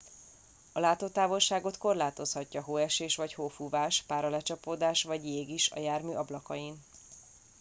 a látótávolságot korlátozhatja hóesés vagy hófúvás páralecsapódás vagy jég is a jármű ablakain